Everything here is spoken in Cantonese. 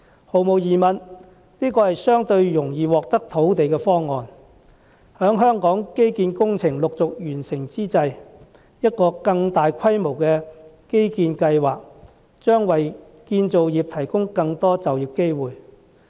毫無疑問，這是個相對容易獲得土地的方案，在香港基建工程陸續完成之際，一個更大規模的基建計劃，將為建造業提供更多就業機會。